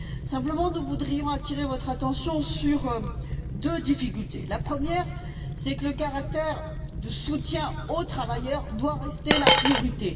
Simplement, nous voudrions attirer votre attention sur deux difficultés. La première, c'est que le caractère de soutien aux travailleurs doit rester la priorité.